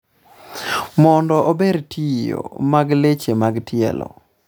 mondo ober tiyo mag leche mag tielo